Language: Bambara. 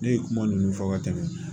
Ne ye kuma ninnu fɔ ka tɛmɛ